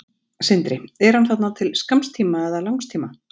Sindri: Er hann þarna til skamms tíma eða langs tíma?